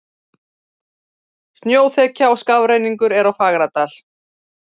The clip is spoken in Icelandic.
Snjóþekja og skafrenningur er á Fagradal